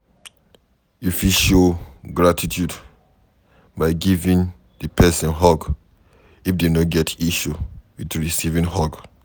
You fit show gratitude by giving di person hug if dem no get issue with recieving hug